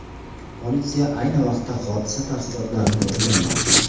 Politsiya ayni vaqtda hodisa tafsilotlarini o‘rganmoqda.